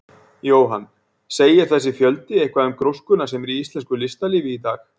Jóhann: Segir þessi fjöldi eitthvað til um gróskuna sem er í íslensku listalífi í dag?